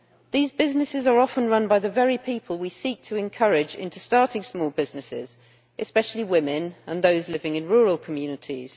These businesses are often run by the very people we seek to encourage into starting small businesses, especially women and those living in rural communities.